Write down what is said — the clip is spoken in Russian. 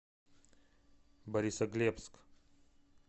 борисоглебск